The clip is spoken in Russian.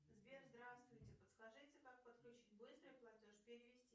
сбер здравствуйте подскажите как подключить быстрый платеж перевести